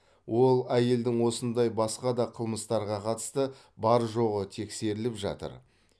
ол әйелдің осындай басқа да қылмыстарға қатысты бар жоғы тексеріліп жатыр